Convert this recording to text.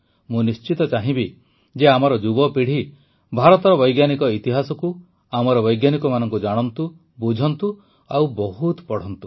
ମୁଁ ନିଶ୍ଚିତ ଚାହିଁବି ଯେ ଆମର ଯୁବପୀଢ଼ୀ ଭାରତର ବୈଜ୍ଞାନିକଇତିହାସକୁ ଆମର ବୈଜ୍ଞାନିକମାନଙ୍କୁ ଜାଣନ୍ତୁ ବୁଝନ୍ତୁ ଓ ବହୁତ ପଢ଼ନ୍ତୁ